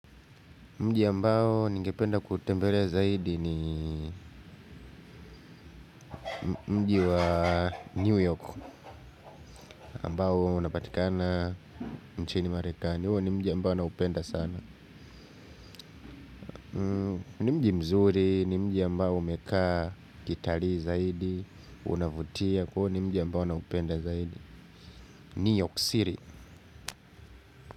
Mji ambao ningependa kuutembelea zaidi ni mji wa New York ambao hua unapatikana mchini marekani. Uo ni mji ambao naupenda sana. Ni mji mzuri ni mji ambao umekaa kitalii zaidi, unavutia kwa uo ni mji ambao naupenda zaidi. New York City.